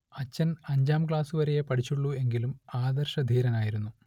അച്ഛൻ അഞ്ചാം ക്ലാസുവരെയെ പഠിച്ചുള്ളൂ എങ്കിലും ആദർശധീരനായിരുന്നു